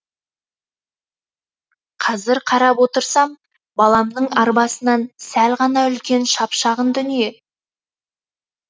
қазір қарап отырсам баламның арбасынан сәл ғана үлкен шап шағын дүние